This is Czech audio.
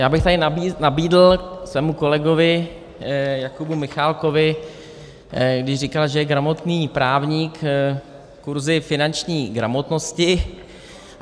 Já bych tady nabídl svému kolegovi Jakubu Michálkovi, když říkal, že je gramotný právník, kurzy finanční gramotnosti.